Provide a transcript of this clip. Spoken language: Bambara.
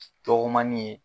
Dɔgɔmani ye